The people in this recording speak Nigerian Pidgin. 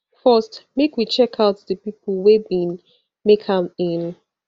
first make we checkout di pipo wey bin make am in